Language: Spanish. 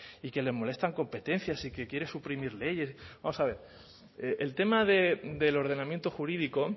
y que le molestan competencias y que quiere suprimir leyes vamos a ver el tema del ordenamiento jurídico